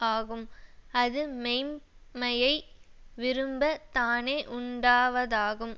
ஆகும் அது மெய்ம்மையை விரும்ப தானே உண்டாவதாகும்